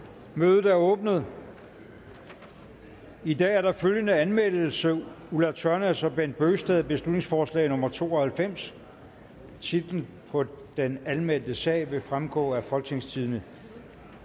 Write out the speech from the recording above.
mødet er åbnet i dag er der følgende anmeldelse ulla tørnæs og bent bøgsted beslutningsforslag nummer b to og halvfems titlen på den anmeldte sag vil fremgå af folketingstidende